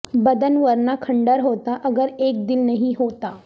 بدن ورنہ کھنڈر ہوتا اگر ایک دل نہیں ہوتا